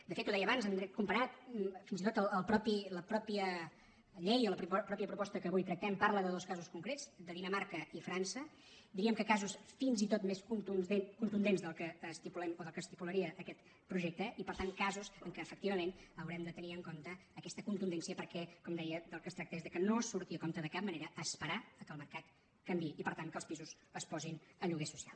de fet ho deia abans en dret comparat fins i tot la mateixa llei o la mateixa proposta que avui tractem parla de dos casos concrets de dinamarca i frança diríem que casos fins i tot més contundents del que estipulem o del que estipularia aquest projecte i per tant casos en què efectivament haurem de tenir en compte aquesta contundència perquè com deia del que es tracta és que no surti a compte de cap manera esperar que el mercat canviï i per tant que els pisos es posin a lloguer social